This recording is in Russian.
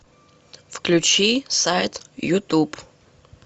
включи сайт ютуб